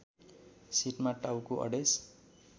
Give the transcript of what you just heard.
सिटमा टाउको अडेस